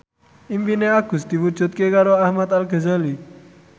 impine Agus diwujudke karo Ahmad Al Ghazali